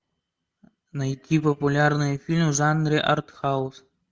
найти популярный фильм в жанре артхаус